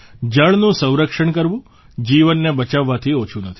જળનું સંરક્ષણ કરવું જીવનને બચાવવાથી ઓછું નથી